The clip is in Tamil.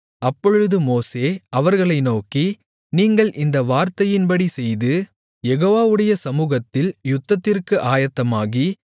அப்பொழுது மோசே அவர்களை நோக்கி நீங்கள் இந்த வார்த்தையின்படி செய்து யெகோவாவுடைய சமுகத்தில் யுத்தத்திற்கு ஆயத்தமாகி